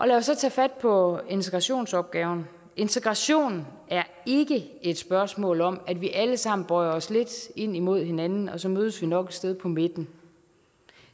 lad os så tage fat på integrationsopgaven integration er ikke et spørgsmål om at vi alle sammen bøjer os lidt ind mod hinanden og så mødes vi nok et sted på midten